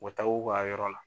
u taa u ka yɔrɔ la.